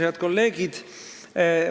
Head kolleegid!